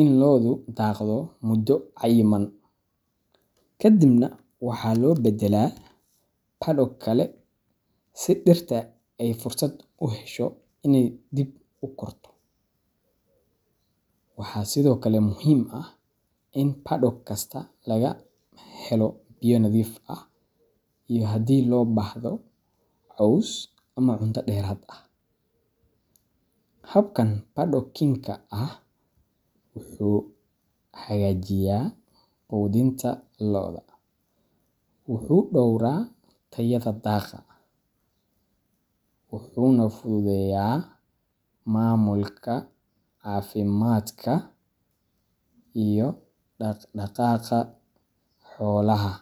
in lo’du daaqdo muddo cayiman, kadibna waxaa loo beddelaa paddock kale si dhirta ay fursad u hesho inay dib u korto. Waxaa sidoo kale muhiim ah in paddock kasta laga helo biyo nadiif ah iyo haddii loo baahdo, caws ama cunto dheeraad ah. Habkan paddockingka ah wuxuu hagaajiyaa quudinta lo’da, wuxuu dhowraa tayada daaqa, wuxuuna fududeeyaa maamulka caafimaadka iyo dhaq-dhaqaaqa xoolaha.